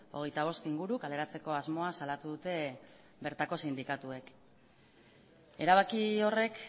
hogeita bost inguru kaleratzeko asmoa salatu dute bertako sindikatuek erabaki horrek